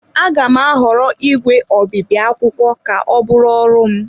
Aga m ahọrọ ígwè obibi akwụkwọ ka ọ bụrụ ọrụ m.